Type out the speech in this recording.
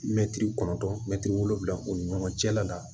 Mɛtiri kɔnɔntɔn mɛtiri wolonwula o ni ɲɔgɔn cɛla la